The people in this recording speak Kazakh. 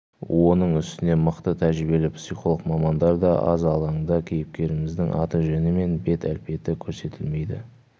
оның үстіне мықты тәжірибелі психолог мамандар да аз алаңда кейіпкеріміздің аты-жөні мен бет әлпеті көрсетілмейді